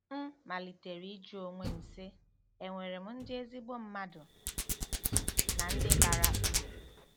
M malitere ịjụ onwe m, sị, ‘È nwere ndị ezigbo mmadụ na ndị bara uru? '